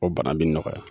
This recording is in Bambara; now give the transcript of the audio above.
O bana bi nɔgɔya